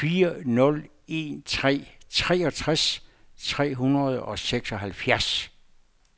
fire nul en tre treogtres tre hundrede og seksoghalvfjerds